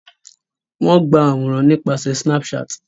Wón àwòrán nípasẹ Snapchat